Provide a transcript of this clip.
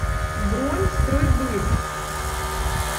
бронь стройбыт